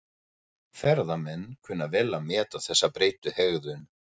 Ferðamenn kunna vel að meta þessa breyttu hegðun.